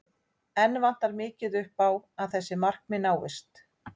Enn vantar mikið upp á að þessi markmið náist.